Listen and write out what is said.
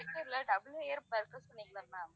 double layer burger சொன்னிங்கல்ல ma'am